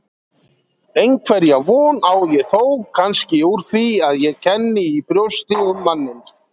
Einhverja von á ég þó kannski úr því að ég kenni í brjósti um manninn.